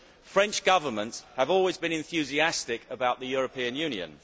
French governments have always been enthusiastic about the European Union.